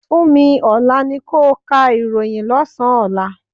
Funmi, Olá ni ko ka ìròhìn lọ́sán-an ọ̀la.